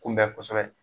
Kunbɛn kosɛbɛ